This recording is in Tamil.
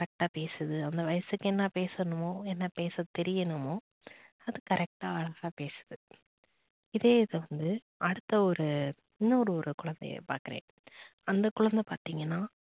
correct டா பேசுது அந்த வயசுக்கு என்ன பேசணுமோ என்ன பேச தெரியுமா அது correct ட்டா அழகா பேசுது. இதே இத வந்து அடுத்த ஒரு இன்னொரு குழந்தையை பாக்குறேன் அந்த குழந்தை பார்த்தீங்கன்னா